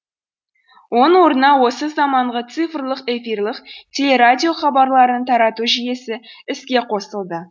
оның орнына осы заманғы цифрлық эфирлік телерадио хабарларын тарату жүйесі іске қосылды